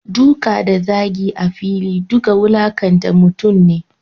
Duka da zagi a fili duka wulakanta mutum ne.